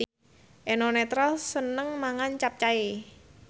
Eno Netral seneng mangan capcay